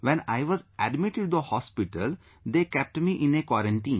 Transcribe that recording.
When I was admitted to the hospital, they kept me in a quarantine